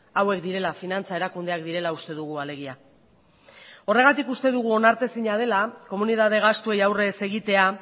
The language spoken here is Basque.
hauek direla finantza erakundeak direla uste dugu alegia horregatik uste dugu onartezina dela komunitate gastuei aurre ez egitea